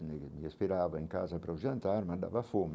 esperava em casa para o jantar, mas dava fome.